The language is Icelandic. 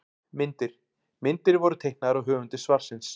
Myndir: Myndir voru teiknaðar af höfundi svarsins.